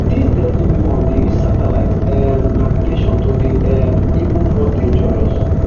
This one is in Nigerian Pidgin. dis deadly weapon dey use satellite um navigation to dey um even more dangerous